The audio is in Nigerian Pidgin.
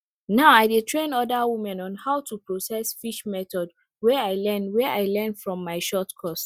now i dey train other women on how to process fish method wey i learn wey i learn from my short course